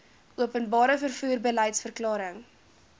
openbare vervoer beliedsverklaring